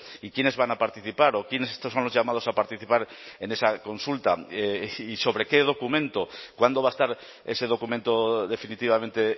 y quienes van a participar o quienes estos son los llamados a participar en esa consulta y sobre qué documento cuándo va a estar ese documento definitivamente